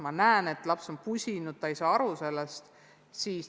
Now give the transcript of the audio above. Ma näen, et laps on pusinud, aga ta ei ole sellest aru saanud.